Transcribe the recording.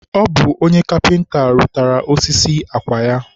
ọ bụ onye kapịnta rụtaara ya osisi akwa ya.